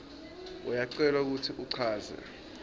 uyacelwa kutsi uchaze